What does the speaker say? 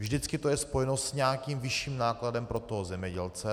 Vždycky to je spojeno s nějakým vyšším nákladem pro toho zemědělce.